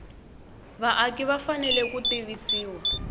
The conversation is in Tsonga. vaaki va fanele ku tivisiwa